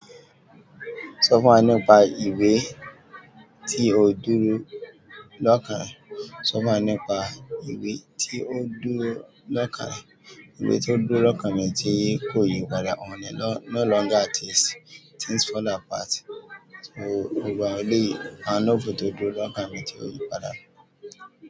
Sọ fún wa nípa ìwé tí o dúró láka. Sọ fún wa nípa ìwé tí o dúró lọ́kàn rẹ. Ìwé tí o dúró lọ́kàn mi tí kò yí padà. "No Longer At Ease, Things Fall Apart". Sóo gbogbo àwọn eléyìí. A nó fò tó dúró lọ́kàn mi tí ò yí padà.